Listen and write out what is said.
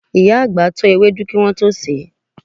Ìyá àgbà tọ́ ewédú wọn kán tó sèé.